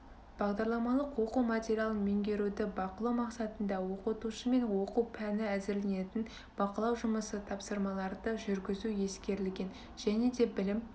бағдарламалық оқу материалын меңгеруді бақылау мақсатында оқытушымен оқу пәні әзірленетін бақылау жұмысы тапсырмаларды жүргізу ескерілген және де білім